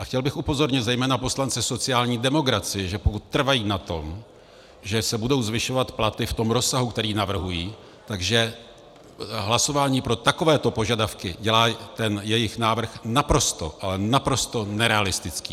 A chtěl bych upozornit zejména poslance sociální demokracie, že pokud trvají na tom, že se budou zvyšovat platy v tom rozsahu, který navrhují, že hlasování pro takovéto požadavky dělá ten jejich návrh naprosto, ale naprosto nerealistický.